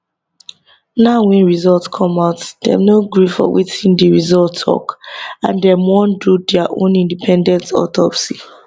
now wey result come out dem no gree for wetin di result tok and dem wan do dia own independent autopsy